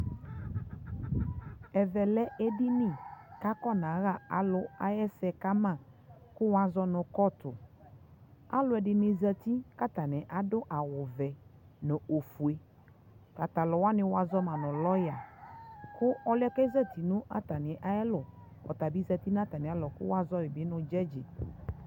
ɛvɛ lɛ ɛdini kʋ afɔnaha alʋɛ ɛsɛ kama kʋ wʋ azɔnʋ courtʋ, alʋɛdini zati kʋ atani adʋ awʋ vɛ nʋ ɔfʋɛ, tata alʋ wa, wazɔma nʋ lawyer kʋ ɔlʋɛ kɛ zati nʋ atami ɛlʋ ɔta bi zati nʋ atami alɔ kʋ wazɔma nʋ jʋdgi